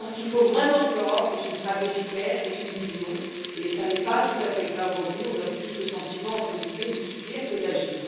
Je pense qu'il faut vraiment que l'Europe ait une stratégie claire, ait une vision, et ce n'est pas tout à fait le cas aujourd'hui on donne plus le sentiment de subir que d'agir.